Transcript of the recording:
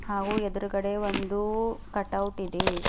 ಹಾಗೂ ಎದುರುಗಡೆ ಒಂದು ಕಟೌಟ್ ಇದೆ.